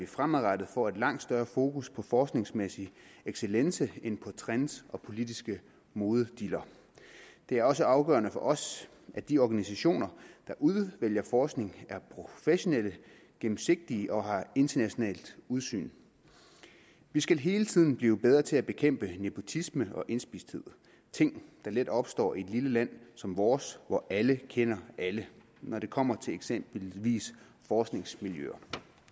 fremadrettet får et langt større fokus på forskningsmæssig excellence end på trends og politiske modediller det er også afgørende for os at de organisationer der udvælger forskning er professionelle gennemsigtige og har internationalt udsyn vi skal hele tiden blive bedre til at bekæmpe nepotisme og indspisthed ting der let opstår i et lille land som vores hvor alle kender alle når det kommer til eksempelvis forskningsmiljøer